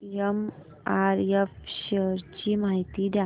MRF shares ची माहिती द्या